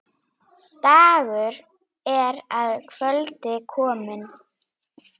Dagur er að kvöldi kominn.